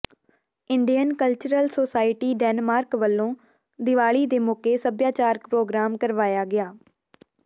Indian cultural society Denmark ਵੱਲੋ ਦੀਵਾਲੀ ਦੇ ਮੋਕੇ ਸਭਿਆਚਾਰਿਕ ਪ੍ਰੋਗਰਾਮ ਕਰਵਾਇਆ ਗਿਆ